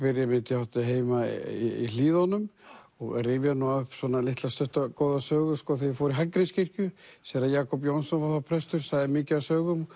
ég átti heima í Hlíðunum og rifja upp eina litla stutta góða sögu þegar ég fór í Hallgrímskirkju séra Jakob Jónsson var þar prestur og sagði mikið af sögum